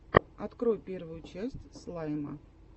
открой первую часть слайма